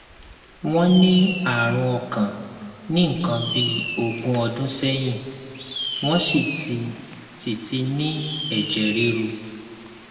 wọn ní àrùn ọkàn ní nǹkan bí ogún ọdún sẹyìn wọn sì ti sì ti ní ẹjẹ ríru